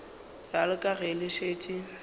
bjalo ka ge le šetše